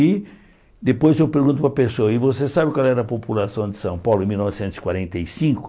E depois eu pergunto para a pessoa, e você sabe qual era a população de São Paulo em mil novecentos e quarenta e cinco?